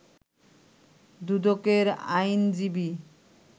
দুদকের আইনজীবী